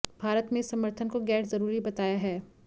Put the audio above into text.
भारत ने इस समर्थन को गैर ज़रूरी बताया है